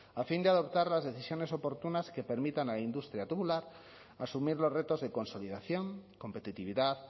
a fin de adoptar las decisiones oportunas que permitan a la industria tubular asumir los retos de consolidación competitividad